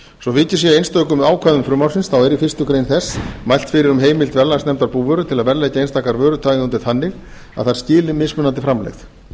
svo vikið sé að einstökum ákvæðum frumvarpsins er í fyrstu greinar þess mælt fyrir um heimild verðlagsnefndar búvöru til að verðleggja einstakar vörutegundir þannig að þær skili mismunandi framlegð